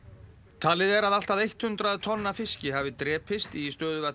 talið er að allt að hundrað tonn af fiski hafi drepist í